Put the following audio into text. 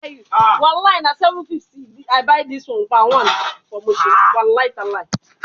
Se o ro pe ori bakan lati ma fọ igbonse naa